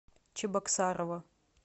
чебоксарова